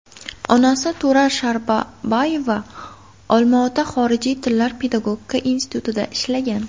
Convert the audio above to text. Onasi Turar Shabarbayeva Olmaota xorijiy tillar pedagogika institutida ishlagan.